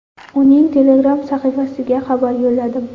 Uning Telegram-sahifasiga xabar yo‘lladim.